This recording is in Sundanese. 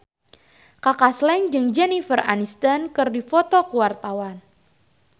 Kaka Slank jeung Jennifer Aniston keur dipoto ku wartawan